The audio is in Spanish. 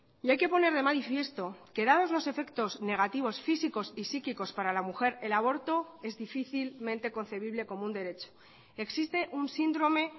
y hay que poner de manifiesto que dados los efectos negativos físicos y psíquicos para la mujer el aborto es difícilmente concebible como un derecho existe un síndrome